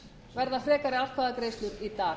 verða frekari atkvæðagreiðslur í dag